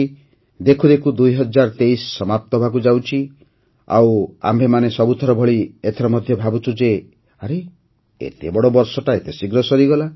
ଦେଖୁ ଦେଖୁ ୨୦୨୩ ସମାପ୍ତ ହେବାକୁ ଯାଉଛି ଆଉ ଆମ୍ଭେମାନେ ସବୁଥର ଭଳି ଏଥର ମଧ୍ୟ ଭାବୁଛୁ ଯେ ଆରେ ଏତେ ବଡ଼ ବର୍ଷଟା ଏତେ ଶୀଘ୍ର ସରିଗଲା